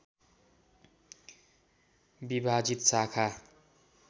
विभाजित शाखा